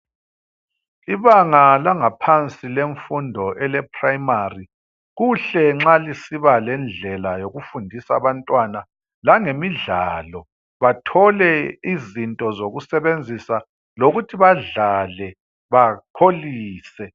Ibanga langaphansi lemfundo eleprimary kuhle nxa lisiba lendlela yokufundisa abantwana langemidlalo bathole izinto zokusebenzisa lokuthi badlale bakholise.